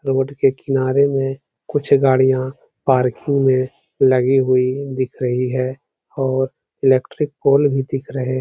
road के किनारे में कुछ गाड़ियां पार्किंग में लगी हुई दिख रही हैं और इलेक्ट्रिक पोल भी दिख रहे --